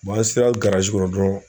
an sera kɔnɔ dɔrɔn